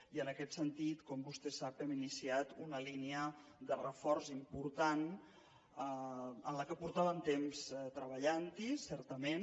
i en aquest sentit com vostè sap hem iniciat una línia de reforç important en la qual feia temps que treballàvem certament